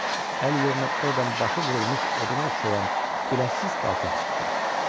Əli yerinə ordan başı vurulmuş oduna oxşayan biləksiz qaltaq çıxdı.